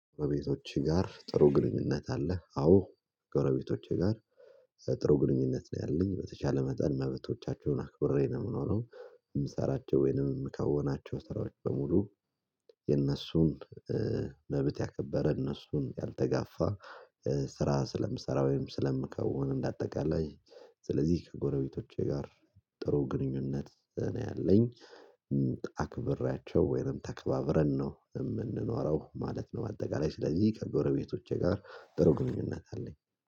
ጎረቤቶችህ ጋር ጥሩ ግንኙነት አለ? አዎ ጎረቤቶቼ ጋር ጥሩ ግንኙነት ነው ያለኝ በተቻለ መጠን መብቶቻቸውን አክብሬ ነው የምኖረው። የምሰራቸው ወይንም የምከወናቸው ስራዎች በሙሉ የነሱን መብት ያከበረ እነሱን ያልተጋፋ ስራ ስለምሰራ ወይም ስለምከውን እንደ አጠቃላይ። ስለዚህ ከጎረቤቶቼ ጋር ጥሩ ግንኙነት ነው ያለኝ። አክብሬያቸው ወይንም ተከባብረን ነው የምንኖረው ማለት ነው። አጠቃላይ ስለዚህ ከበረቤቶቼ ጋር ጥሩ ግንኙነት አለኝ።